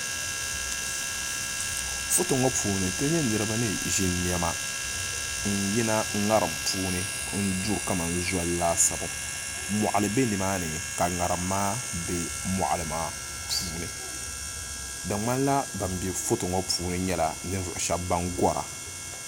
Foto ŋo puuni ti nyɛ niraba ni ʒi niɛma n yina ŋariŋ puuni n duri kamani zoli laasabu moɣili bɛ nimaani ka ŋarim maa bɛ moɣili maa puuni di ŋmanila ban bɛ foto ŋo puuni nyɛla ninvuɣu shaba ban gora